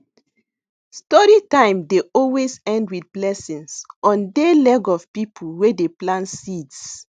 story time dey always end with blessings on dey leg of people wey dey plant seeds